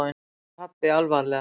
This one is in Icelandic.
sagði pabbi alvarlega.